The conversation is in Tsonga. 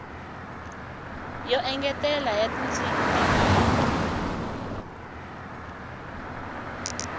yo engetela ya tindzimi tinyingi